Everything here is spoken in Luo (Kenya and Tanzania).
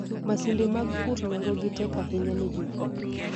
Masinde mag pur nengogi tek ahinya ne jopur.